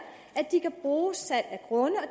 at de kan bruge salg af grunde